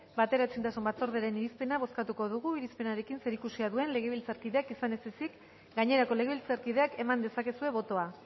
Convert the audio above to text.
bateraezintasun batzordearen irizpena bozkatu dugu irizpenarekin zerikusia duen legebiltzarkideak izan ez ezik gainerako legebiltzarkideak eman dezakezue botoa